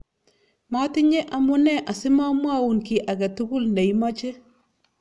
matinye amune asimamwoun kiy age tugul ne imache